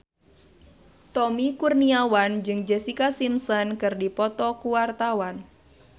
Tommy Kurniawan jeung Jessica Simpson keur dipoto ku wartawan